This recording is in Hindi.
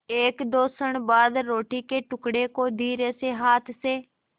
एकदो क्षण बाद रोटी के टुकड़े को धीरेसे हाथ से